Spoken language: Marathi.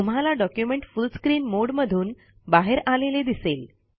तुम्हाला डॉक्युमेंट फुल स्क्रीन मोड मधून बाहेर आलेले दिसेल